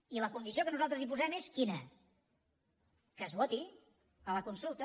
i la condició que nosaltres hi posem és quina que es voti a la consulta